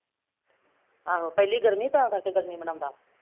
ਆਹੋ ਪਹਿਲੀ ਗਰਮੀ ਤਾਂ ਕਰਕੇ ਗਰਮੀ ਮਨਾਉਂਦਾ